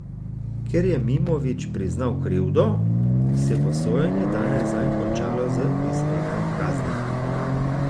Ker je Mimović priznal krivdo, se bo sojenje danes zanj končalo z izrekom kazni.